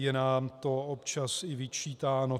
Je nám to občas i vyčítáno.